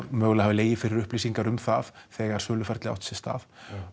mögulega hafi legið fyrir upplýsingar um það þegar söluferlið átti sér stað